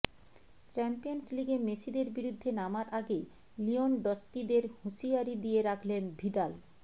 champions লিগে মেসিদের বিরুদ্ধে নামার আগে লিয়নডস্কিদের হুঁশিয়ারি দিয়ে রাখলেন ভিদাল